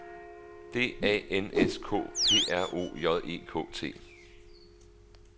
D A N S K P R O J E K T